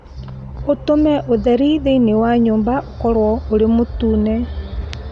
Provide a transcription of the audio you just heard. ũtũme ũtheri thĩinĩ wa nyũmba ũkorũo ũrĩ mũtune